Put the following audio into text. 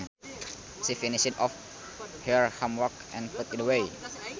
She finished off her homework and put it away